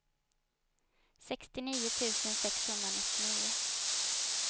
sextionio tusen sexhundranittionio